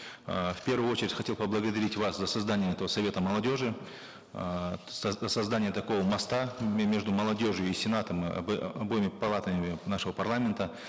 эээ в первую очередь хотел поблагодарить вас за создание этого совета молодежи эээ создание такого моста между молодежью и сенатом э обоими палатами нашего парламента